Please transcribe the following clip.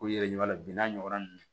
Ko yɛrɛ bin n'a ɲɔgɔnna ninnu